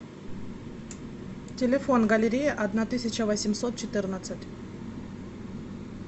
телефон галерея одна тысяча восемьсот четырнадцать